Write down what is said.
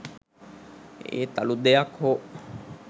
ඒත් අලුත් දෙයක් හෝ